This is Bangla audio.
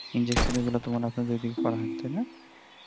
injection মানে এগুলো তো আপনাদের দিকে করা হয় না তাই না